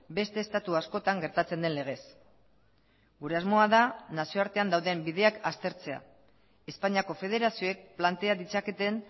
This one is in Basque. beste estatu askotan gertatzen den legez gure asmoa da nazioartean dauden bideak aztertzea espainiako federazioek plantea ditzaketen